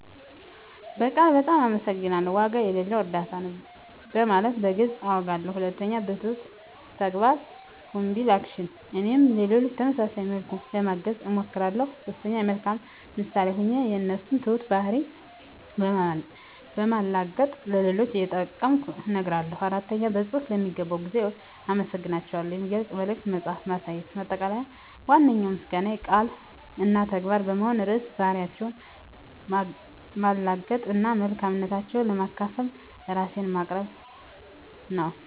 በቃል "በጣም አመሰግናለሁ"፣ "ዋጋ የሌለው እርዳታ ነው" በማለት በግልፅ አውጋለሁ። 2. በትሁት ተግባር (Humble Action) - እኔም ሌሎችን በተመሳሳይ መልኩ ለማገዝ እሞክራለሁ። 3. የመልካም ምሳሌ ሆኜ የእነሱን ትሁት ባህሪ በማላገጥ ለሌሎች እየጠቀምኩ እነግራለሁ። 4. በፅሁፍ ለሚገባው ጊዜ አመሰግናታቸውን የሚገልጽ መልዕክት በመጻፍ ማሳየት። ማጠቃለያ ዋነኛው ምስጋናዬ ቃል እና ተግባር በመሆን ርዕሰ ባህሪያቸውን ማላገጥ እና መልካምነታቸውን ለማካፈል ራሴን ማቅረብ ነው።